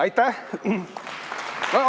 Aitäh!